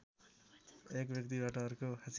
एक व्यक्तिबाट अर्को